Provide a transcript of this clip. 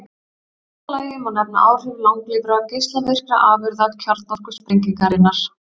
Í fjórða lagi má nefna áhrif langlífra geislavirkra afurða kjarnorkusprengingarinnar.